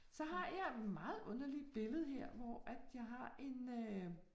Så har jeg meget underligt billede her, hvor jeg har en øh